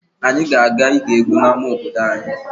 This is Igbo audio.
Anyị ga-aga ige egwu n'ama obodo anyị.